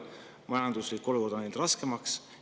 Majanduslik olukord on läinud raskemaks.